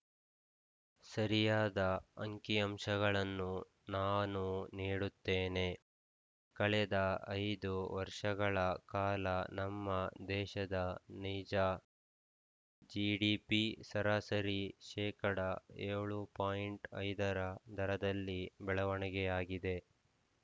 ಸರಿಯಾದ ಅಂಕಿಅಂಶಗಳನ್ನು ನಾನು ನೀಡುತ್ತೇನೆ ಕಳೆದ ಐದು ವರ್ಷಗಳ ಕಾಲ ನಮ್ಮ ದೇಶದ ನೈಜ ಜಿಡಿಪಿ ಸರಾಸರಿ ಶೇಕಡಾ ಏಳು ಪಾಯಿಂಟ್ ಐದರ ದರದಲ್ಲಿ ಬೆಳವಣಿಗೆಯಾಗಿದೆ